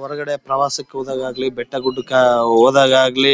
ಹೊರಗಡೆ ಪ್ರವಾಸಕ್ಕೆ ಹೋದಾಗ ಆಗಲಿ ಬೆಟ್ಟ ಗುಡ್ಡಕ್ಕೆ ಹೋದಾಗ ಆಗ್ಲಿ